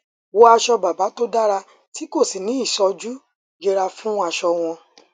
wọ aṣọ bàbà tó dára tí kò sì ní í sojú yẹra fún aṣọ àwọn